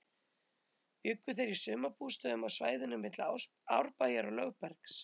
Bjuggu þeir í sumarbústöðum á svæðinu milli Árbæjar og Lögbergs.